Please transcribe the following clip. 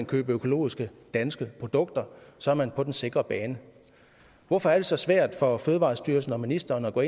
købe økologiske danske produkter så er man på den sikre bane hvorfor er det så svært for fødevarestyrelsen og ministeren at gå